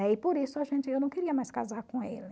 E por isso eu não queria mais casar com ele.